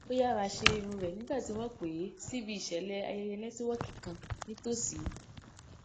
ó yára ṣe irun rẹ nígbà tí wọn pè é sí ibi ìṣẹlẹ ayẹyẹ nẹtíwọọkì kan nítóòsí